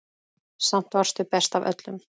Samt varstu best af öllum.